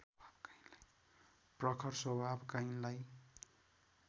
प्रखर स्वभावका यिनलाई